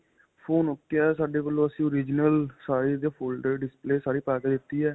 phone ok ਹੈ ਸਾਡੇ ਵੱਲੋਂ ਅਸੀਂ original ਸਾਰੀ ਇਹਦੀ display folder ਸਾਰੀ ਪਾ ਕੇ ਦਿੱਤੀ ਹੈ .